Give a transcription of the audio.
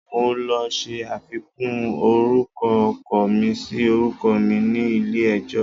Mo lọ ṣe àfikún orúkọ ọkọ mi sí orúkọ mi ni ilé ẹjọ́